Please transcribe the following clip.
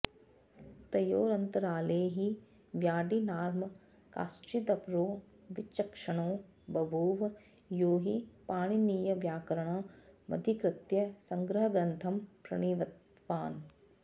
तयोरन्तराले हि व्याडिर्नाम काश्चिदपरो विचक्षणो बभूव यो हि पाणिनीयव्याकरणमधिकृत्य संग्रहग्रन्थं प्रणीतवान्